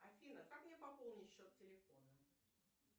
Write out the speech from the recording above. афина как мне пополнить счет телефона